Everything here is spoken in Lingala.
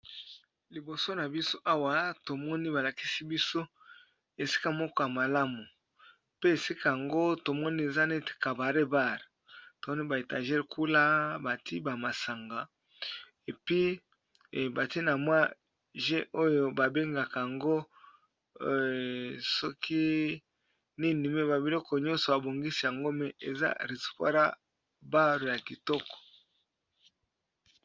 liboso na biso awa tomoni balakisi biso esika moko ya malamu pe esika yango tomoni eza net cabare bar tomoni ba étager kuna bati ba masanga epi batie na mwa jeu oyo babengaka yango soki nini me ba biloko nyonso abongisi yango me eza restaura bar ya kitoko